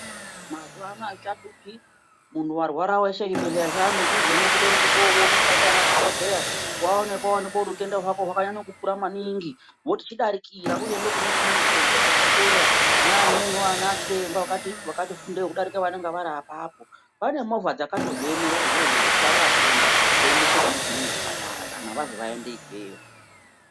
Mazuwa anaa azvichahlupi, muntu warwara weshe zvibhedhlera zvaamudhuzemwo kutorumba koonekwa ndianadhokodheya. Waonekwa woonekwa kuti utenda hwako hwakanyanya kukura maningi voti chidarikira uende kune chimweni chibhedhlera chepadera kune vamweniwo anachiremba akati fundewo kudarika vanenge vari apapo. Pane movha dzakatozviemera izvozvo zvekutwara vatenda kuendesa kune zvimweni zvipatara kana vanzi vaende ikweyo.